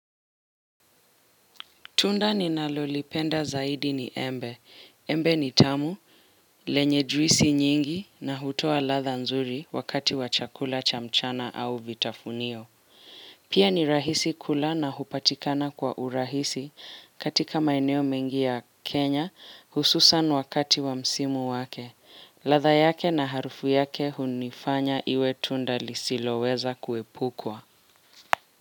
Tunda ninalolipenda zaidi ni embe. Embe ni tamu, lenye juisi nyingi na hutoa latha nzuri wakati wa chakula cha mchana au vitafunio. Pia ni rahisi kula na hupatikana kwa urahisi katika maeneo mengi ya Kenya hususan wakati wa msimu wake. Latha yake na harufu yake hunifanya iwe tunda lisiloweza kuepukwa.